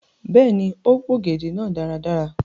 Bẹẹni, o p'ògèdè náà dára.